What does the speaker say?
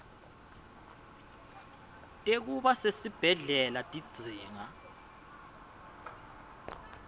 tekuba sesibhedlela tidzinga